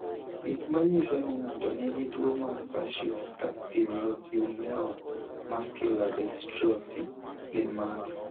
Gik manyiso ni ng'ato nigi tuwo mar Facioscapulohumeral muscular dystrophy gin mage?